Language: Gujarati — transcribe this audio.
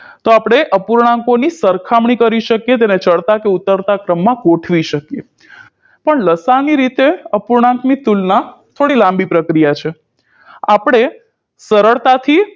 તો આપણે અપૂર્ણાંકોની સરખામણી કરી શકીએ તેને ચડતા કે ઉતરતા ક્રમમા ગોઠવી શકીએ પણ લસાઅની રીતે અપૂર્ણાંકની તુલના થોડી લાંબી પ્રક્રિયા છે આપણે સરળતાથી